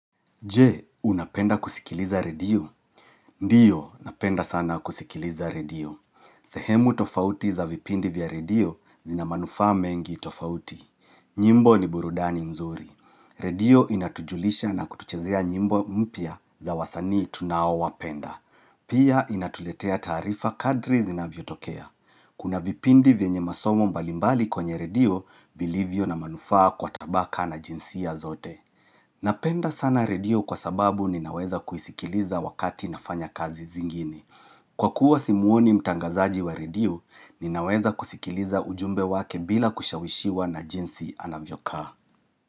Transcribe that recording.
Je, unapenda kusikiliza redio? Ndiyo, napenda sana kusikiliza redio. Sehemu tofauti za vipindi vya redio zina manufa mengi tofauti. Nyimbo ni burudani nzuri. Redio inatujulisha na kutuchezea nyimbo mpya za wasani tunaoawapenda. Pia inatuletea taarifa kadri zinavyotokea. Kuna vipindi vyenye masomo mbalimbali kwenye redio vilivyo na manufaa kwa tabaka na jinsia zote. Napenda sana Redio kwa sababu ninaweza kuisikiliza wakati nafanya kazi zingine. Kwa kuwa simuoni mtangazaji wa Redio, ninaweza kusikiliza ujumbe wake bila kushawishiwa na jinsi anavyokaa.